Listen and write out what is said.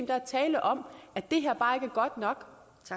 der er tale om at det her bare ikke er godt nok